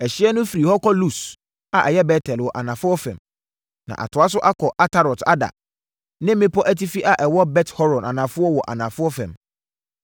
Ɛhyeɛ no firi hɔ kɔ Lus (a ɛyɛ Bet-El) wɔ anafoɔ fam, na ɛtoa so kɔ Atarot-Adar ne bepɔ atifi a ɛwɔ Bet-Horon Anafoɔ wɔ anafoɔ fam.